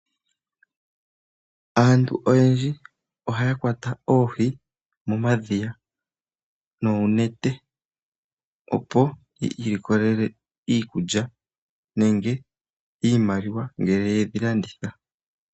Aantu oyendji ohaya kwata oohi momadhiya noonete opo yi ilikolele iikulya nenge iimaliwa ngele yedhi landitha.